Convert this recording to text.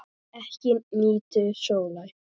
Ekki nýtur sólar.